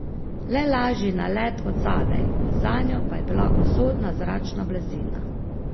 Le lažji nalet od zadaj, zanjo pa je bila usodna zračna blazina.